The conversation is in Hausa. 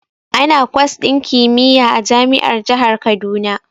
Ana kwas din kimiyya a jami'ar jihar Kaduna.